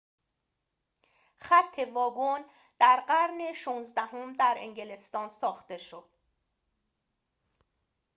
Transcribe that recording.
خط واگن در قرن ۱۶ام در انگلستان ساخته شد